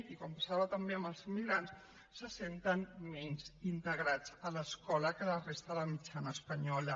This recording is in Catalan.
i com passava també amb els immigrants se senten menys integrats a l’escola que la resta de mitjana espanyola